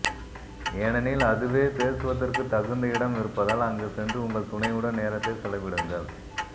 ஏனெனில் அதுவே பேசுவதற்கு தகுந்த இடம் இருப்பதால் அங்கு சென்று உங்கள் துணையுடன் நேரத்தை செலவிடுங்கள்